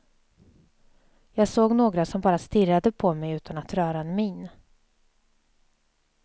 Jag såg några som bara stirrade på mig utan att röra en min.